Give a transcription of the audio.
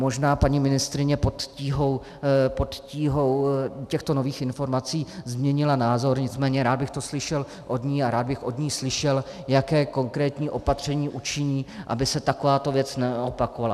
Možná paní ministryně pod tíhou těchto nových informací změnila názor, nicméně rád bych to slyšel od ní a rád bych od ní slyšel, jaké konkrétní opatření učiní, aby se takováto věc neopakovala.